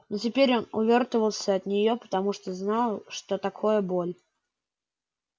но теперь он увёртывался от нее потому что знал что такое боль